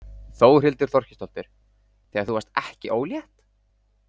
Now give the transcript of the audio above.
Þórhildur Þorkelsdóttir: Þegar þú varðst ekki ólétt?